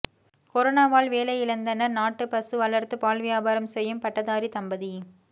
கொரோனாவால் வேலையிழந்தனர் நாட்டு பசு வளர்த்து பால் வியாபாரம் செய்யும் பட்டதாரி தம்பதி